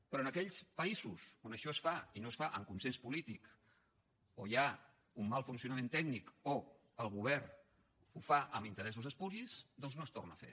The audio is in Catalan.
però en aquells països on això es fa i no es fa amb consens polític o hi ha un mal funcionament tècnic o el govern ho fa amb interessos espuris doncs no es torna a fer